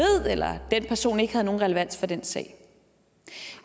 eller at den person ikke har nogen relevans for den sag